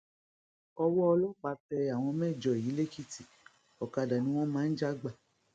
owó ọlọpàá tẹ àwọn mẹjọ yìí lèkìtì ọkadà ni wọn máa ń já gbà